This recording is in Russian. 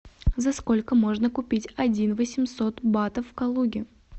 за сколько можно купить один восемьсот батов в калуге